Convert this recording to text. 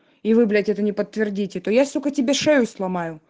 и вы блять это не подтвердите то я сука тебе шею сломаю